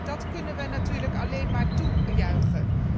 Dat kunnen we natuurlijk alleen maar toejuichen.